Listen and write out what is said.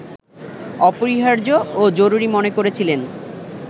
অপরিহার্য ও জরুরি মনে করেছিলেন